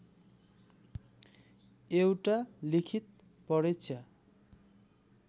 एउटा लिखित परीक्षा